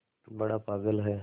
बड़ा पागल है